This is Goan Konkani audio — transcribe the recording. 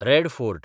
रॅड फोर्ट (लाल किला)